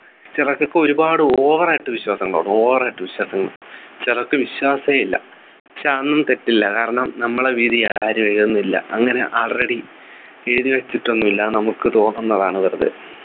ചിലർക്കൊക്കെ ഒരുപാട് over ആയിട്ട് വിശ്വാസമുണ്ടാകും over ആയിട്ട് വിശ്വാസം ചിലർക്ക് വിശ്വാസമേ ഇല്ല പക്ഷേ അതൊന്നും തെറ്റില്ല കാരണം നമ്മുടെ വിധി ഒന്നുമില്ല അങ്ങനെ already എഴുതി വെച്ചിട്ടൊന്നുമില്ല നമുക്ക് തോന്നുന്നതാണ് വെറുതെ